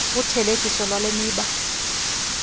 uthelekiso lwale miba